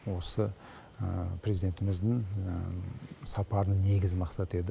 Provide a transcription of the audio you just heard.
осы президентіміздің сапарының негізгі мақсаты еді